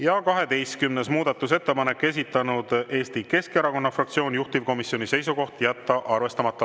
Ja 12. muudatusettepanek, esitanud Eesti Keskerakonna fraktsioon, juhtivkomisjoni seisukoht: jätta arvestamata.